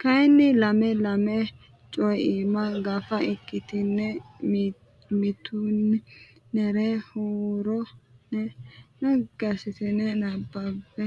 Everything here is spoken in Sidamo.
kayinni lame lame Co imma Gafa ikkitine mimmiti nera huuro ne naggi assitine nabbabbe